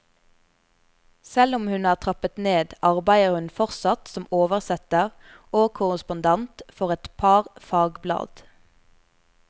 Selv om hun har trappet ned, arbeider hun fortsatt som oversetter og korrespondent for et par fagblad.